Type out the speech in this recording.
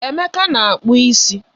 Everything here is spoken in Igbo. Emeka na-akpu isi.